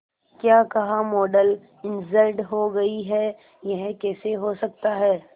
क्या कहा model injured हो गई है यह कैसे हो सकता है